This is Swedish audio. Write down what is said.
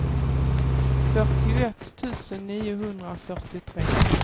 fyrtioett tusen niohundrafyrtiotre